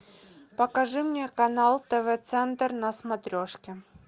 покажи мне канал тв центр на смотрешке